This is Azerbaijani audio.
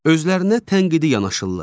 Özlərinə tənqidi yanaşırlar.